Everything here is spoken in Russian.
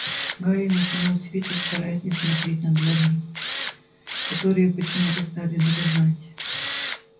гарри натянул свитер стараясь не смотреть на дворники которые почему-то стали дрожать